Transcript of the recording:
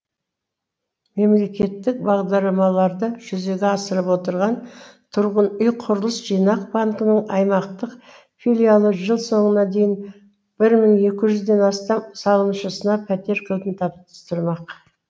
мемлекеттік бағдармаларды жүзеге асырып отырған тұрғын үй құрылыс жинақ банкінің аймақтық филиалы жыл соңына дейін бір мың екі жүзден астам салымшысына пәтер кілтін табыстырмақ